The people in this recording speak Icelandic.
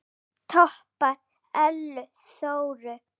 Enginn toppar Ellu Þóru.